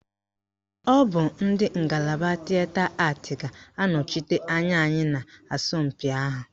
Ọ bụ ndị ngalaba Tịeta Atị ga-anọchite anya anyị n'asọmpị ahụ